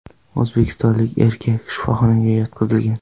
O‘zbekistonlik erkak shifoxonaga yotqizilgan.